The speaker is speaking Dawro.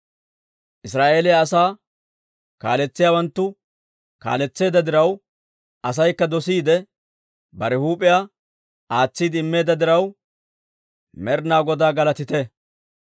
«Israa'eeliyaa asaa kaaletsiyaawanttu kaaletseedda diraw, Asaykka dosiide, bare huup'iyaa aatsiide immeedda diraw, Med'inaa Godaa galatite!